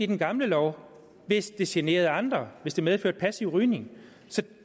den gamle lov hvis det generede andre hvis det medførte passiv rygning så det